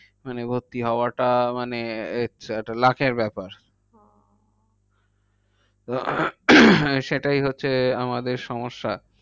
মানে ভর্তি হওয়াটা মানে একটা luck এর ব্যাপার। হ্যাঁ সেটাই হচ্ছে আমাদের সমস্যা।